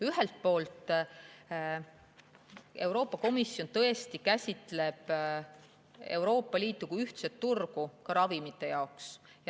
Ühelt poolt käsitleb Euroopa Komisjon Euroopa Liitu kui ühtset turgu ka ravimite puhul.